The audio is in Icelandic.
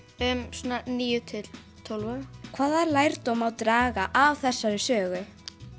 svona níu til tólf ára hvaða lærdóm má draga af þessari sögu